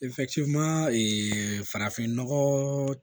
farafinnɔgɔ